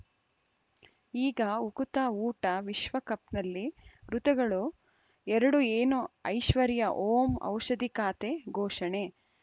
ಈಗ ಉಕುತ ಊಟ ವಿಶ್ವಕಪ್‌ನಲ್ಲಿ ಋತುಗಳು ಎರಡು ಏನು ಐಶ್ವರ್ಯಾ ಓಂ ಔಷಧಿ ಖಾತೆ ಘೋಷಣೆ